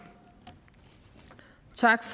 tak